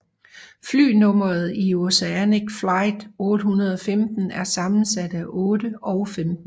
Flynummeret i Oceanic Flight 815 er sammensat af 8 og 15